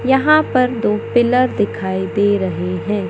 यहां पर दो पिलर दिखाई दे रहे हैं।